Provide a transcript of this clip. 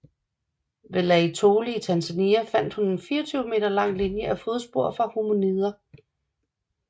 Ved Laetoli i Tanzania fandt hun en 24 m lang linje af fodspor fra hominider